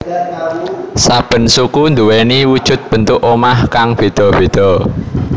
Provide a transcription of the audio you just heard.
Saben suku nduweni wujud bentuk omah kang beda beda